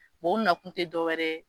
o nakun tɛ dɔwɛrɛ ye